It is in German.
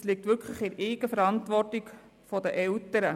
Diese liegt in der Eigenverantwortung der Eltern.